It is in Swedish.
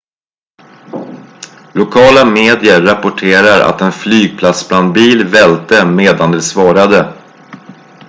lokala medier rapporterar att en flygplatsbrandbil välte medan de svarade